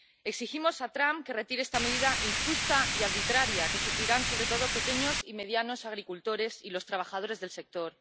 Exigimos a Trump que retire esta medida injusta y arbitraria, que sufrirán sobre todo los pequeños y medianos agricultores y los trabajadores del sector.